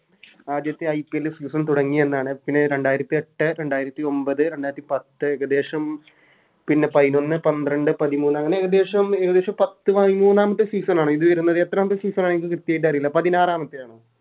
ആദ്യത്തെ IPLSeason തുടങ്ങിയെന്നാണ് പിന്നെ രണ്ടായിരത്തി എട്ട് രണ്ടായിരത്തി ഒമ്പത് രണ്ടായിരത്തി പത്ത് ഏകദേശം പിന്നെ പയിനോന്ന് പന്ത്രണ്ട് പതിമൂന്ന് അങ്ങനെ ഏകദേശം ഏകദേശം പത്ത് പയിമൂന്നാമത്തെ Season ആണോ ഇത് വരുന്നത് എത്രാമത്തെ Season ആണ് എന്ക്ക് കൃത്യമായിറ്റ് അറീല്ല പതിനാറാമത്തെ ആണോ